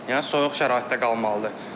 Yəni soyuq şəraitdə qalmalıdır.